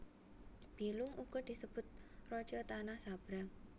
Bilung uga disebut raja tanah sabrang